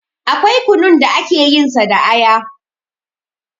Akwai kunun da ake yin sa da aya